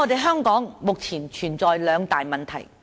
香港目前存在兩大問題。